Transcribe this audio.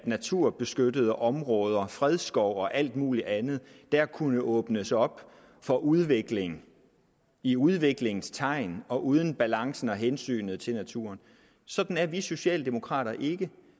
naturbeskyttede områder fredsskov og alt muligt andet kunne åbnes op for udvikling i udviklingens tegn og uden balancen og hensynet til naturen sådan er vi socialdemokrater ikke